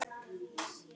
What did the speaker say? En hvað hefur gerst?